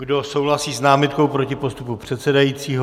Kdo souhlasí s námitkou proti postupu předsedajícího?